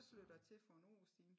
Der flytter jeg til for en år siden